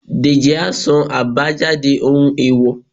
dejí a sán abájádé ohún eèwò